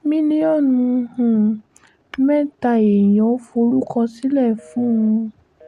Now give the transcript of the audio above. mílíọ̀nù um mẹ́ta èèyàn forúkọ sílẹ̀ fún ń